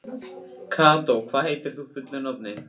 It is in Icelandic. Kató, hvað heitir þú fullu nafni?